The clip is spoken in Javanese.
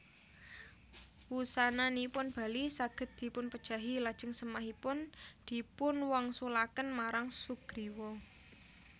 Wusananipun Bali saged dipunpejahi lajeng sèmahipun dipunwangsulaken marang Sugriwa